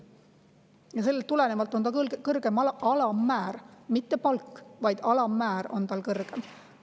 Ja sellest tulenevalt on ka kõrgem alammäär – mitte palk, vaid alammäär on tal kõrgem.